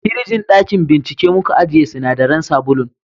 firijin dakin bincike muka ajiye sinadaran sabulun